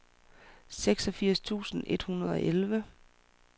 seksogfirs tusind et hundrede og elleve